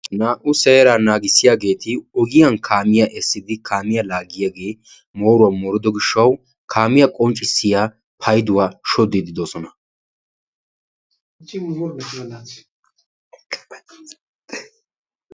Naa"u seeraa naagissiyaageti ogiyaan kaamiyaa essidi kaamyaa laaggiyaagee mooruwaa moorido gishshawu kaamiyaa qonccisiyaa payduwaa shoddiidi de'oosona.